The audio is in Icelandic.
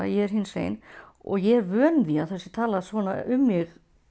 ég er hinsegin og ég er vön því að það sé talað svona um mig